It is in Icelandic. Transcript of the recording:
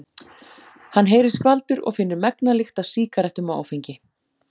Hann heyrir skvaldur og finnur megna lykt af sígarettum og áfengi.